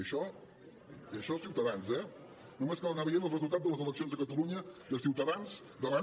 és ciutadans eh només cal anar veient els resultats a les eleccions de catalunya de ciutadans davant